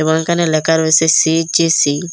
এবং ওখানে লেখা রয়েসে সি_জি_সি ।